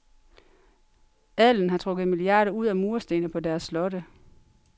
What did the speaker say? Adelen har trukket milliarder ud af murstene på deres slotte